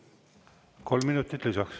Kolm minutit lisaks.